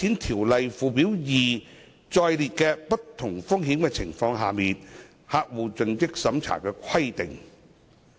《條例》附表2載列的不同風險情況下的客戶盡職審查規定。